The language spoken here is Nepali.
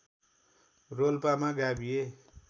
रोल्पामा गाभिए